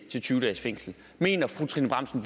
og tyve dages fængsel mener fru trine bramsen